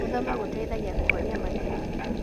Gũthoma gũteithagia kũhonia mathĩna.